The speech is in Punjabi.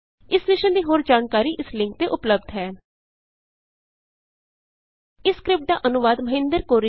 ਇਸ ਮਿਸ਼ਨ ਦੀ ਹੋਰ ਜਾਣਕਾਰੀ ਇਸ ਲਿੰਕ ਤੇ ਉਪਲੱਭਦ ਹੈ httpspoken tutorialorgNMEICT Intro ਇਸ ਸਕਰਿਪਟ ਦਾ ਅਨੁਵਾਦ ਮਹਿੰਦਰ ਰਿਸ਼ਮ ਨੇ ਕੀਤਾ ਹੈ